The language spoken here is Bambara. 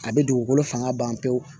A bɛ dugukolo fanga ban pewu